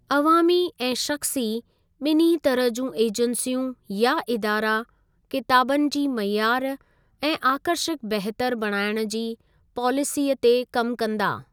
अवामी ऐं शख़्सी बिन्हीं तरह जूं एजेंसियूं या इदारा किताबनि जी मइयार ऐं आकर्षक बहितर बणाइण जी पॉलिसीअ ते कमु कंदा।